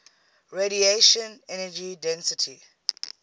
radiation energy density